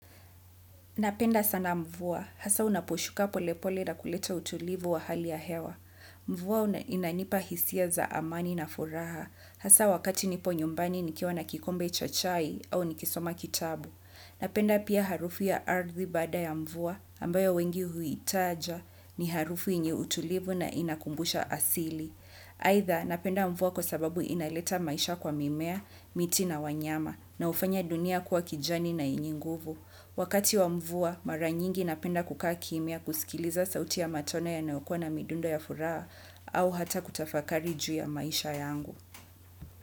Napenda sana mvua, hasa unaposhuka polepole na kuleta utulivu wa hali ya hewa. Mvua inanipa hisia za amani na furaha, hasa wakati nipo nyumbani nikiwa na kikombe cha chai au nikisoma kitabu. Napenda pia harufu ya ardhi baada ya mvua, ambayo wengi huitaja, ni harufu yenye utulivu na inakumbusha asili. Aidha, napenda mvua kwa sababu inaleta maisha kwa mimea, miti na wanyama, na hufanya dunia kuwa kijani na yenye nguvu. Wakati wa mvua, mara nyingi napenda kukaa kimya kusikiliza sauti ya matone ya yanayokua na midundo ya furaha au hata kutafakari juu ya maisha yangu.